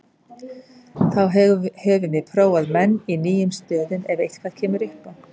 Þá höfum við prófað menn í nýjum stöðum ef eitthvað kemur upp á.